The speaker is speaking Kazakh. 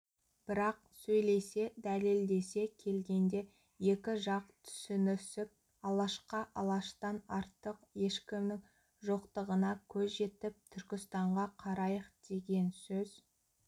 бірақ сөйлесе дәлелдесе келгенде екі жақ түсінісіп алашқа алаштан артық ешкімнің жоқтығына көз жетіп түркістанға қарайық деген сөз